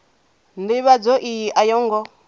ndivhadzo iyi a yo ngo